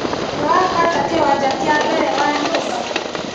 Nĩwahata kĩwanja kĩa mbere wa nyũmba?